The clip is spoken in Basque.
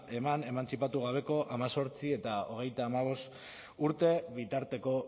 eman emantzipatu gabeko hemezortzi eta hogeita hamabost urte bitarteko